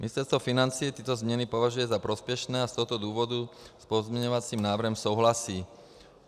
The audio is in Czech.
Ministerstvo financí tyto změny považuje za prospěšné a z tohoto důvodu s pozměňovacím návrhem souhlasí.